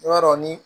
I b'a dɔn ni